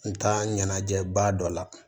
N taa ɲɛnajɛ ba dɔ la